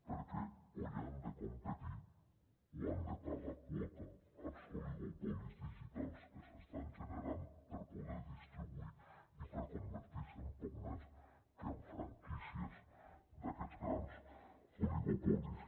perquè o hi han de competir o han de pagar quota als oligopolis digitals que s’estan generant per poder distribuir i per convertir se en poc més que en franquícies d’aquests grans oligopolis